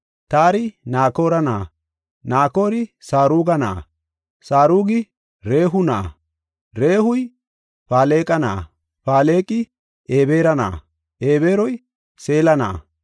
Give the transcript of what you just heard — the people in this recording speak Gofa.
Taari Nakoora na7a, Naakorey Saruga na7a, Sarugi Rehu na7a, Rehuy Faleqa na7a, Faleqi Ebeera na7a, Ebeeroy Seela na7a,